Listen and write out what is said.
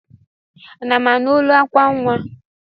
Ana m anụ olu akwa nnwa?